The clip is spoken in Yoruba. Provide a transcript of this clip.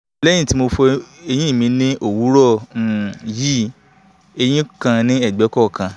lẹ́yìn tí mo ti fọ eyín mi ní òwúrọ̀ um yìí eyín kan ní ẹgbẹ̀ kọ̀ọ̀kan